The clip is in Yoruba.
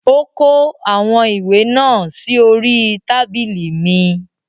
Ó kó àwọn ìwé náà sí orí I tábìlì mi